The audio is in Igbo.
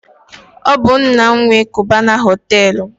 Ọ bụ nna m nwe Kubana họtelụ